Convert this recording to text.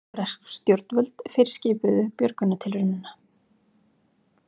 Bresk stjórnvöld fyrirskipuðu björgunartilraunina